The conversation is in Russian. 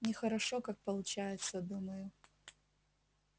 нехорошо как получается думаю